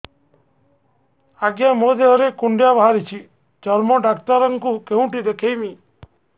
ଆଜ୍ଞା ମୋ ଦେହ ରେ କୁଣ୍ଡିଆ ବାହାରିଛି ଚର୍ମ ଡାକ୍ତର ଙ୍କୁ କେଉଁଠି ଦେଖେଇମି